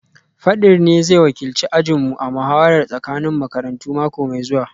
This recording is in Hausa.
Fadir ne zai wakilci ajinmu a muhawarar tsakanin makarantu mako mai zuwa